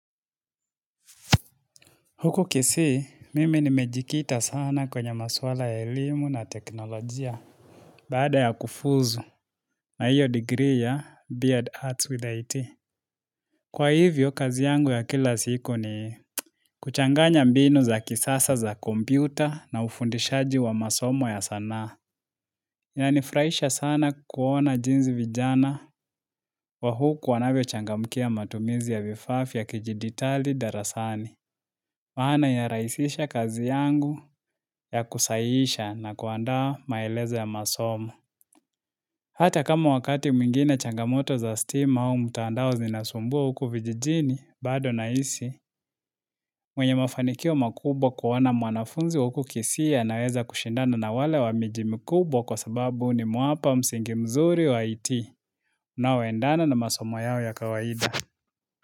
Huku kisii, mimi nimejikita sana kwenye maswala ya elimu na teknolojia baada ya kufuzu na hiyo degree ya Beard Arts with IT. Kwa hivyo, kazi yangu ya kila siku ni kuchanganya mbinu za kisasa za kompyuta na ufundishaji wa masomo ya sana. Ya nifuraisha sana kuona jinsi vijana wa huku wanavyo changamkia matumizi ya vifaa ya kijiditali darasani. Maana ya raisisha kazi yangu ya kusaiisha na kuandaa maeleza ya masomo. Hata kama wakati mwingine changamoto za stima au mtaandao zinasumbua huku vijijini, bado na hisi, mwenye mafanikio makubwa kuona mwanafunzi wa uku kisii anaweza kushindana na wale wa miji mikubwa kwa sababu nimewapa msingi mzuri wa IT unaoendana na masomo yao ya kawaida.